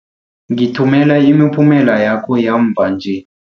Ngithumela imiphumela yakho yamva nje.